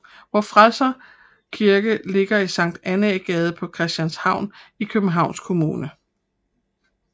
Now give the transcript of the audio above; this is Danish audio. Vor Frelsers Kirke ligger i Sankt Annæ Gade på Christianshavn i Københavns Kommune